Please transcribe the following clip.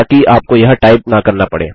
ताकि आपको यह टाइप न करना पड़े